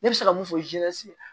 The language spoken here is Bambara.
Ne bɛ se ka mun fɔ